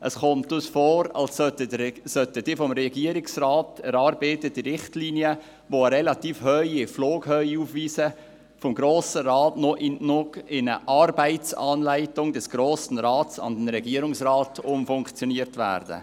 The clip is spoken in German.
Es scheint uns, als sollten die vom Regierungsrat erarbeiteten Richtlinien, die eine relativ hohe Flughöhe aufweisen, vom Grossen Rat in eine Arbeitsanleitung des Grossen Rats an den Regierungsrat umfunktioniert werden.